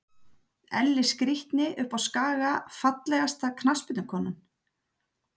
Elli skrítni uppá skaga Fallegasta knattspyrnukonan?